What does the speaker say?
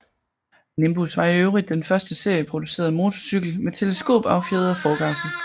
Nimbus var i øvrigt den første serieproducerede motorcykel med teleskopaffjedret forgaffel